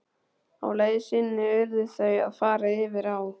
Á leið sinni urðu þau að fara yfir á.